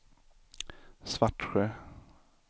Svartsjö